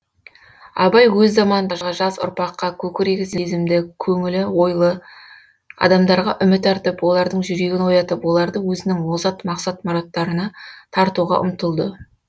абай өз заманындағы жас ұрпаққа көкірегі сезімді көңілі ойлы адамдарға үміт артып олардың жүрегін оятып оларды өзінің озат мақсат мұраттарына тартуға ұмтылды